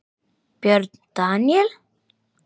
Björn Daníel?